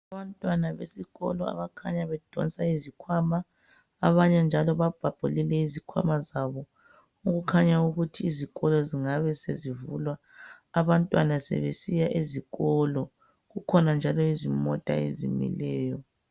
Abantwana besikolo abakhanya bedonsa izikhwama, abanye njalo babhabhulile izikhwama zabo okukhanya ukuthi izikolo zingabe sezivulwa abantwana sebesiya ezikolo. Kukhona njalo izimota ezimileyo.